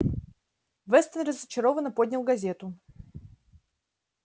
вестон разочарованно поднял газету